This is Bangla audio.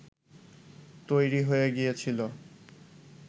তৈরি হয়ে গিয়েছিল